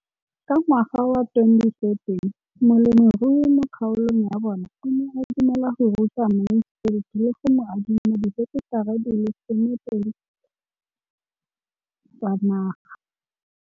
Ka ngwaga wa 2013, molemirui mo kgaolong ya bona o ne a dumela go ruta Mansfield le go mo adima di heketara di le 12 tsa naga.